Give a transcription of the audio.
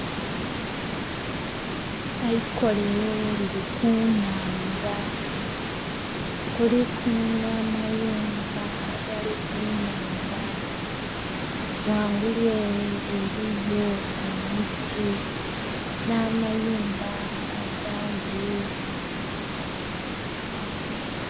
Eikolero liri ku nhandha kuliku nha amayumba agali ku nhandha, ghangulu ere eriyo emiti na'mayumba agandhi.